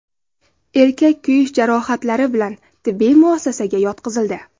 Erkak kuyish jarohatlari bilan tibbiy muassasaga yotqizildi.